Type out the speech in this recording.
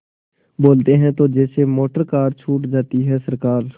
बोलते हैं तो जैसे मोटरकार छूट जाती है सरकार